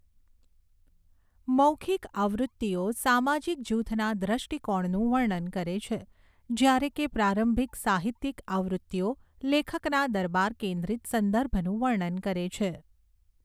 મૌખિક આવૃત્તિઓ સામાજિક જૂથના દ્રષ્ટિકોણનું વર્ણન કરે છે જ્યારે કે પ્રારંભિક સાહિત્યિક આવૃત્તિઓ લેખકના દરબાર કેન્દ્રિત સંદર્ભનું વર્ણન કરે છે.